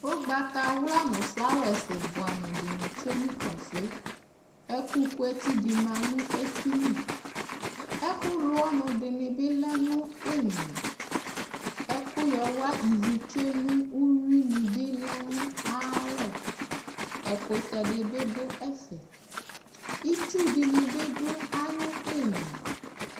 Ʋgbatawla nʋ flawɛsi buamu di ni tsue nʋ kpafo e, ʋkʋ kʋ eti di ma nʋ eti li Ɛkʋ lʋ ɔɔnu di bi lɛ nʋ imla Ɛkʋ yɔwa ivitsue nʋ uwui ni bi lɛ nʋ ayalɔ, ɛkʋtɛ di ni bi dʋ ɛfɛ Itsu di ni bi dʋ ayu imla